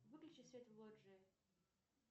выключи свет в лоджии